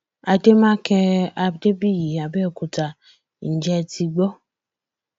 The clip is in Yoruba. àdèmàkè adébíyí àbẹòkúta ǹjẹ ẹ ti gbó